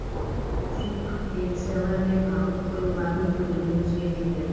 субвенциялар мен алып қоюлардың көлемі өзгертілді